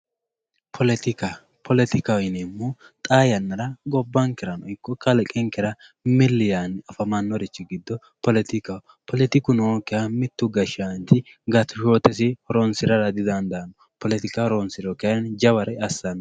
Politika politikaho yineemohu xaa yanara gobankerano iko kalqenkera mill yaani afanorich giddo politikaho politiku nookiha mittu gashanchi gashoote gashara didandaano